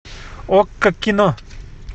окко кино